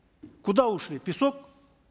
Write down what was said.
куда ушли в песок